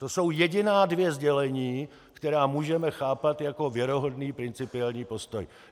To jsou jediná dvě sdělení, která můžeme chápat jako věrohodný principiální postoj.